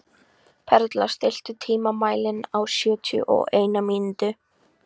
Perla, stilltu tímamælinn á sjötíu og eina mínútur.